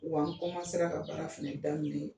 Wa n ka baara fɛnɛ daminɛ